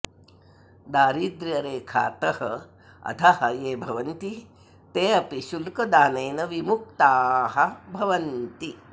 दारिद्र्यरेखातः अधः ये भवन्ति ते अपि शुल्कदानेन विमुक्ताः भवन्ति